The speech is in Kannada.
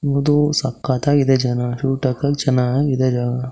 ಎದು ಸಕ್ಕತಾಗಿದೆ ಚೆನ್ನಾಗ್ ಕ್ಯೂಟ್ ಆಗಿ ಚೆನ್ನಾಗಾಗಿದೆ.